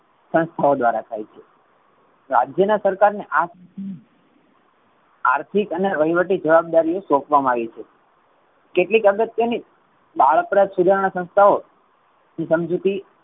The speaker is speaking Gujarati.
સંસ્થાઓ દ્વારા થઇ છે. રાજ્ય ના સરકાર ને આ આર્થિક અને વહીવટી જવાબદારી સોપવામાં આવી છે. કેટલીક અગત્ય ની બાળપણ સુધારણા સંસ્થાઓ સમજૂતી